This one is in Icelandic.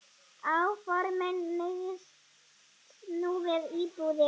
Áformin miðist nú við íbúðir.